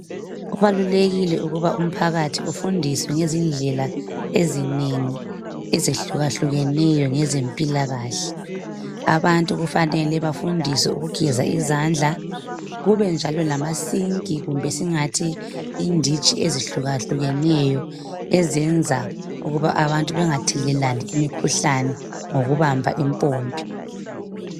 Kubalulekile ukuba umphakathi ufundiswe ngezindlela ezinengi ezehlukahlukeneyo ngezempilakahle. Abantu kufanele bafundiswe ukugeza izandla, kube njalo lamasinki, kumbe singathi inditshi ezihlukahlukeneyo ezenza ukuba abantu bengathelelani imikhuhlane ngokubamba impompi.